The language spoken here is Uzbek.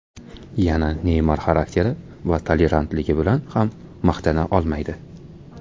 Yana Neymar xarakteri va tolerantligi bilan ham maqtana olmaydi.